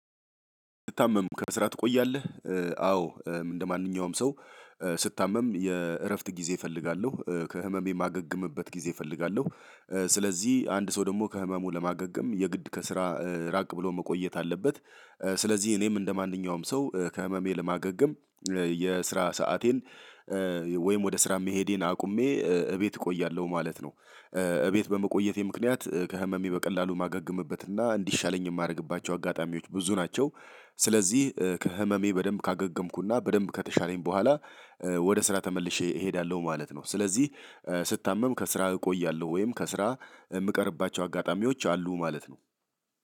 ስትታመም ከስራ ትቆያለህ? አዎ እንደማንኛውም ሰው ስታመም የእረፍት ጊዜ እፈልጋለሁ ከህመሜ የማገግምበት ጊዜ እፈልጋለሁ። ስለዚህ አንድ ሰው ደግሞ ከህመሙ ለማገገም የግድ ከስራ ራቅ ብሎ መቆየት አለበት። ስለዚህ እኔም እንደማንኛውም ሰው ከህመሜ ለማገገም የስራ ሰአቴን ወይም ወደ ስራ መሄዴን አቁሜ እቤት እቆያለሁ ማለት ነው። እቤት በመቆየቴ ምክንያት ከህመሜ በቀላሉ ማገገምበት እና እንዲሻለኝ የማደርግባቸው አጋጣሚዎች ብዙ ናቸው። ስለዚህ ከህመሜ በደንብ ካገገምኩና በደንብ ከተሻለኝ በኋላ። ወደ ስራ ተመልሼ እሄዳለሁ ማለት ነው። ስለዚህ ስታመም ከስራ እቆያለሁ ወይም ከስራ የምቀርባቸው አጋጣሚዎች አሉ ማለት ነው።